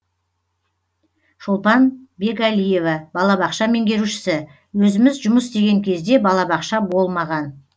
шолпан бекәлиева балабақша меңгерушісі өзіміз жұмыс істеген кезде балабақша болмаған